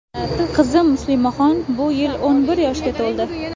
Qizim Muslimaxon bu yil o‘n bir yoshga to‘ldi.